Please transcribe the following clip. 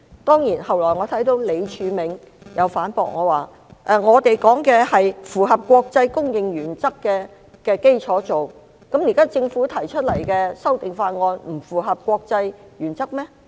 當然，後來我看到李柱銘先生反駁我，指他們所說的是在符合國際公認原則的基礎上進行，難道政府現時提出的修訂法案不符合國際原則嗎？